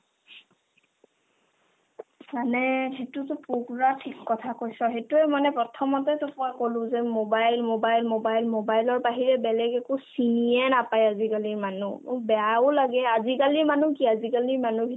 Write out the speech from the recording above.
মানে সেটোতো পূৰা ঠিক কথা কৈছ সেইটোয়ে মানে প্ৰথমতে তোক মই ক'লো যে মোবাইল মোবাইল মোবাইল মোবাইলৰ বাহিৰে বেলেগ একো চিনিয়ে নাপাই আজিকালিৰ মানুহ মোৰ বেয়াও লাগে আজিকালি মানুহ কি আজিকালি মানুহৰ